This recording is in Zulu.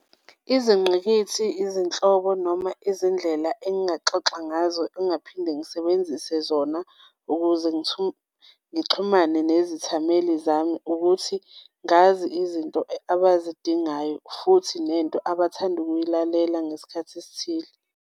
Izingqikithi, izinhlobo noma izindlela engingaxoxa ngazo engingaphinde ngisebenzise zona ukuze ngixhumane nezithameli zami ukuthi ngazi izinto abazidingayo futhi nento abathanda ukuyilalela ngesikhathi esithile.